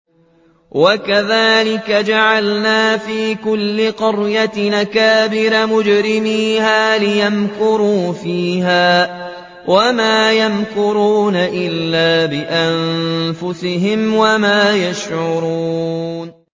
وَكَذَٰلِكَ جَعَلْنَا فِي كُلِّ قَرْيَةٍ أَكَابِرَ مُجْرِمِيهَا لِيَمْكُرُوا فِيهَا ۖ وَمَا يَمْكُرُونَ إِلَّا بِأَنفُسِهِمْ وَمَا يَشْعُرُونَ